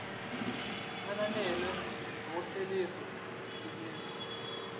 ananele ngokuhlaziya izinzwa